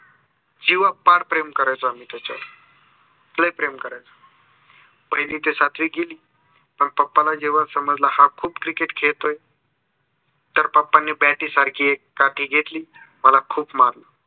जिवापाड प्रेम करायचो आम्ही तच्यावर लय प्रेम करायचो. पहिली ते सातवी गेली. मंग papa ना समजल की हा खूप cricket खेळतोय. तर papa नी bat सारखी एक काठी घेतली. मला खूप मारल.